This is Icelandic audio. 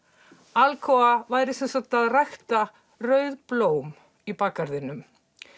Alcoa væri að rækta rauð blóm í bakgarðinum